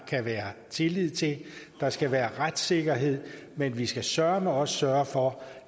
kan være tillid til der skal være retssikkerhed men vi skal søreme også sørge for